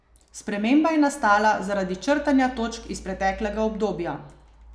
Sprememba je nastala zaradi črtanja točk iz preteklega obdobja.